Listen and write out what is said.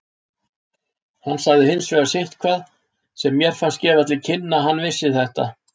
Hann sagði hins vegar sitthvað sem mér fannst gefa til kynna að hann vissi þetta.